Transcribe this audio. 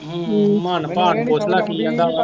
ਹੂੰ ਭਾਗ ਨੂੰ ਪੁੱਛ ਲਾ ਕੀ ਕਹਿੰਦਾ ਵਾ